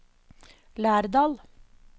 Lærdal